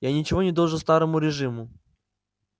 я ничего не должен старому режиму